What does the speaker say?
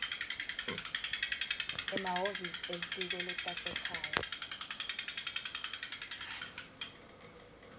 emahhovisi elitiko letasekhaya